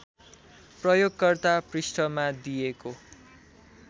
प्रयोगकर्ता पृष्ठमा दिएको